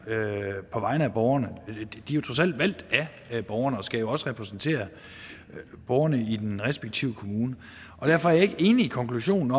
på vegne af borgerne de er trods alt valgt af borgerne og skal jo også repræsentere borgerne i den respektive kommune derfor er jeg ikke enig i konklusionen